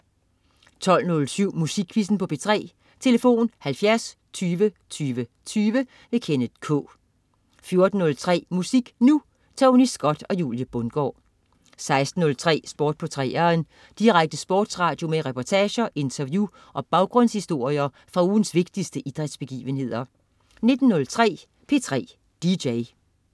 12.07 Musikquizzen på P3. Tlf.: 70 20 20 20. Kenneth K 14.03 Musik Nu! Tony Scott og Julie Bundgaard 16.03 Sport på 3'eren. Direkte sportsradio med reportager, interview og baggrundshistorier fra ugens vigtigste idrætsbegivenheder 19.03 P3 DJ